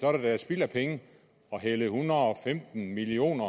er da spild af penge at hælde en hundrede og femten million